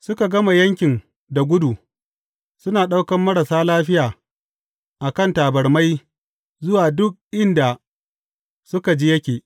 Suka gama yankin da gudu, suna ɗaukan marasa lafiya a kan tabarmai zuwa duk inda suka ji yake.